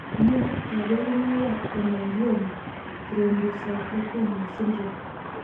Nee kabarunoikab Hemangioma thrombocytopenia Syndrome?